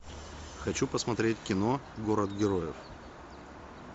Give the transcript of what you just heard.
хочу посмотреть кино город героев